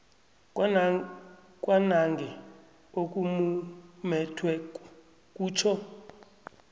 kwanange okumumethweko kutjho